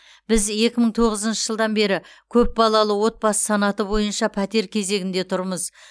біз екі мың тоғызыншы жылдан бері көпбалалы отбасы санаты бойынша пәтер кезегінде тұрмыз